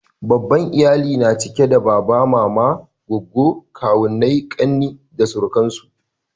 babban iyali na cike da baba mama goggo kawu kakanni da sauransu